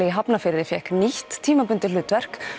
í Hafnarfirði fékk nýtt tímabundið hlutverk